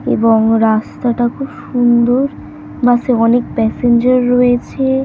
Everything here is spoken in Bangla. এবং রাস্তাটা খুব সুন্দর বাস এ অনেক প্যাসেঞ্জর রয়েছে।